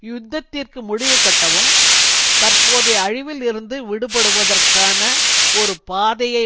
யுத்தத்திற்கு முடிவுகட்டவும் தற்போதைய அழிவில் இருந்து விடுபடுவதற்கான ஒரு பாதையை